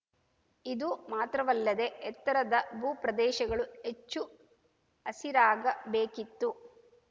ಇದು ಮಾತ್ರವಲ್ಲದೆ ಎತ್ತರದ ಭೂ ಪ್ರದೇಶಗಳು ಹೆಚ್ಚು ಹಸಿರಾಗ ಬೇಕಿತ್ತು